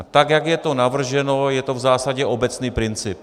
A tak jak je to navrženo, je to v zásadě obecný princip.